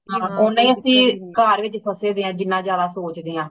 ਓਹਨਾ ਅਸੀਂ ਘਰ ਵਿਚ ਫਸੇ ਦੇ ਹਾਂ ਜਿਨ੍ਹਾਂ ਜਾਦਾ ਸੋਚਦੇ ਹਾਂ